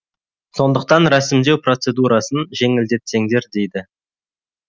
сондықтан рәсімдеу процедурасын жеңілдетсеңдер дейді